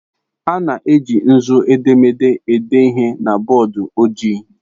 A na-eji nzu edemede ede ihe na bọọdụ ojii.